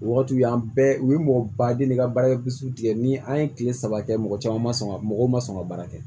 O wagatiw an bɛɛ u ye mɔgɔ baden de ka baara ye tigɛ ni an ye kile saba kɛ mɔgɔ caman ma sɔn ka mɔgɔw ma sɔn ka baara kɛ